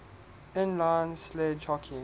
inline sledge hockey